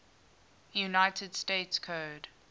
united states code